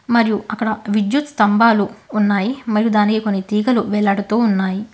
మరియు అక్కడ విద్యుత్ స్తంభాలు ఉన్నాయి మరియు దాని యొక్క తీగలు వేలాడుతూ ఉన్నాయి.